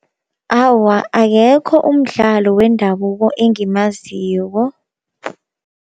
Awa akekho umdlalo wendabuko engimaziko.